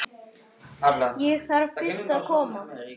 Ég þarf fyrst að koma